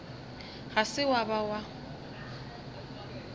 ga se wa ba wa